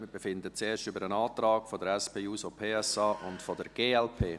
Wir befinden zuerst über den Antrag der SP-JUSO-PSA und der glp.